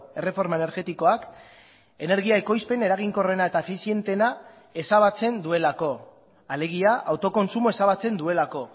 erreforma energetikoak energia ekoizpen eraginkorrena eta efizienteena ezabatzen duelako alegia autokontsumoa ezabatzen duelako